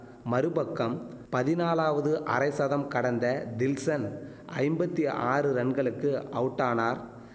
மறுபக்கம் பதினாலாவது அரைசதம் கடந்த தில்ஷன் ஐம்பத்தி ஆறு ரன்களுக்கு அவுட்டானார்